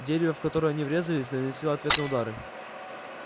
дерево в которое они врезались наносило ответные удары